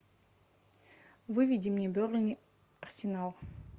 выведи мне бернли арсенал